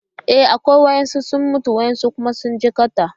E, akwai. Wasu sun mutu wasu kuma sun jikkata.